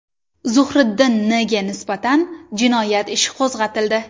Zuhriddin N.ga nisbatan jinoyat ishi qo‘zg‘atildi.